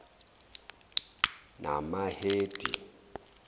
namahedi